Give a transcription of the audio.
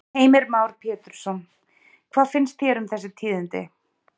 Heimir Már Pétursson: Hvað finnst þér um þessi tíðindi?